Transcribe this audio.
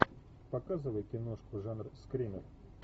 показывай киношку жанр скример